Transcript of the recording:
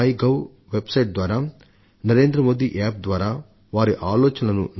in website ద్వారా NarendraModiApp ద్వారా నాకు తెలియజేస్తున్నారు